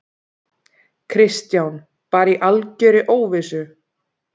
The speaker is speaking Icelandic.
Kristján: Bara í algjörri óvissu?